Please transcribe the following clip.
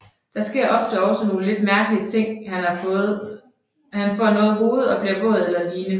Der sker ofte også nogle lidt mærkelige ting han får noget hoved bliver våd eller ligne